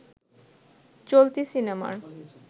চলতি সিনেমার